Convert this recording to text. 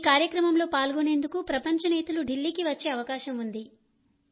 ఈ కార్యక్రమంలో పాల్గొనేందుకు ప్రపంచ నేతలు ఢిల్లీకి వచ్చే అవకాశం ఉంది